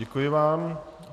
Děkuji vám.